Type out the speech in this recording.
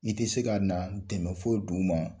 I tɛ se ka na n dɛmɛ fo duguma